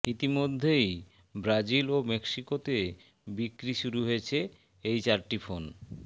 ইতিমধ্যেই ব্রাজিল ও মেক্সিকোতে বিক্রি শুরু হয়েছে এই চারটি ফোন